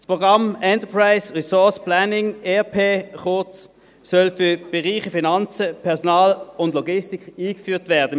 Das Programm Enterprise Resource Planning, kurz ERP, soll im Kanton Bern für die Bereiche Finanzen, Personal und Logistik eingeführt werden.